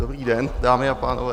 Dobrý den, dámy a pánové.